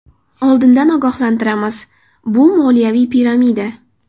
Oldindan ogohlantiramiz: bu moliyaviy piramida.